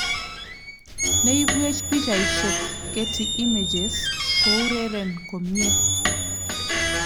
Ne ibwech pichaisyek, Getty Images" Koureren komye